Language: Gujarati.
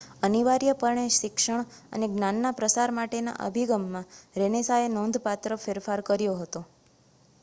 અનિવાર્યપણે શિક્ષણ અને જ્ઞાનના પ્રસાર માટેના અભિગમમાં રેનેસાંએ નોંધપાત્ર ફેરફાર કર્યો હતો